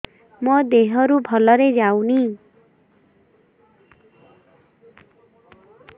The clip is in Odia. ମୋ ଦିହରୁ ଭଲରେ ଯାଉନି